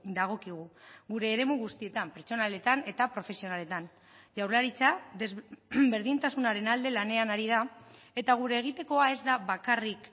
dagokigu gure eremu guztietan pertsonaletan eta profesionaletan jaurlaritza berdintasunaren alde lanean ari da eta gure egitekoa ez da bakarrik